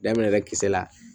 Daminɛ ka kisɛ la